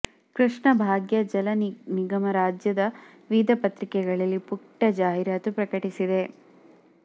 ಕೃಷ್ಣಾ ಭಾಗ್ಯ ಜಲ ನಿಗಮ ರಾಜ್ಯದ ವಿವಿಧ ಪತ್ರಿಕೆಗಳಲ್ಲಿ ಪುಟ್ಟ ಜಾಹೀರಾತು ಪ್ರಕಟಿಸಿದೆ